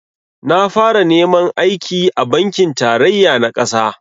Na fara neman aiki a bankin tarayya na ƙasa